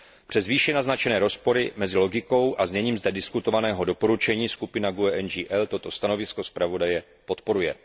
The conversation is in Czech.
Přes výše naznačené rozpory mezi logikou a zněním zde diskutovaného doporučení, skupina GUE NGL toto stanovisko zpravodaje podporuje.